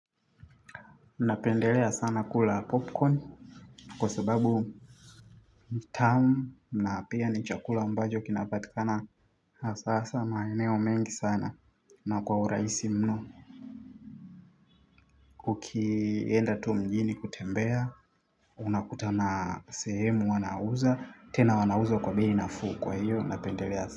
Napendelea sana kula popcorn kwa sababu tamu na pia ni chakula ambacho kinapatikana hasahasa maeneo mengi sana na kwa urahisi mno. Ukienda tu mjini kutembea unakutana sehemu wanauza tena wanauza kwa bei nafuu kwa hiyo napendelea sana.